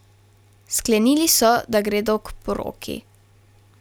Sklenili so, da gredo k poroki.